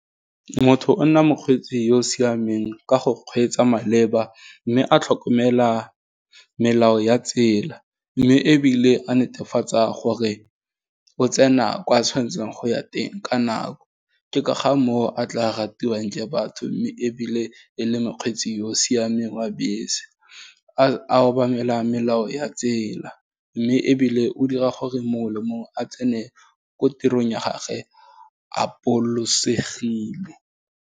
Motho o nna mokgweetsi yo o siameng ka go kgweetsa maleba, mme a tlhokomela melao ya tsela, mme ebile a netefatsa gore, o tsena kwa tshwanetseng go ya teng ka nako, ke ka ga motho a tla ratiwang ke batho, mme ebile e le mokgweetsi yo o siameng wa bese, a obamela melao ya tsela, mme ebile o dira gore mongwe le mongwe a tsene ko tirong ya gage a bolosegile.